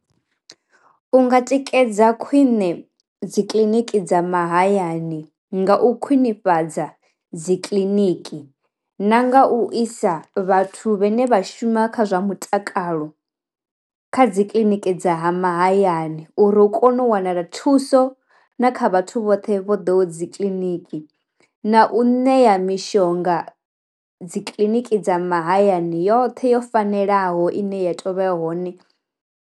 U nga tikedza khwine dzi kiḽiniki dza mahayani nga u khwinifhadza dzi kiḽiniki na nga u isa vhathu vhane vha shuma kha zwa mutakalo kha dzikiḽiniki dza mahayani uri hu kone u wanala thuso na kha vhathu vhoṱhe vho ḓo dzi kiḽiniki, na u ṋea mishonga dzi kiḽiniki dza mahayani yoṱhe yo fanelaho ine ya tovha ya hone.